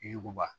Yir'u ba